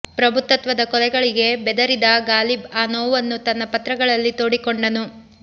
ಪ್ರಭುತ್ವದ ಕೊಲೆಗಳಿಗೆ ಬೆದರಿದ ಗಾಲಿಬ್ ಆ ನೋವನ್ನು ತನ್ನ ಪತ್ರಗಳಲ್ಲಿ ತೋಡಿಕೊಂಡನು